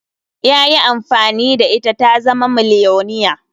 Ya yi amfani da ita ta zama miliyoniya.